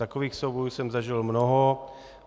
Takových soubojů jsem zažil mnoho.